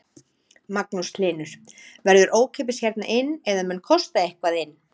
Magnús Hlynur: Verður ókeypis hérna inn eða mun kosta eitthvað inn?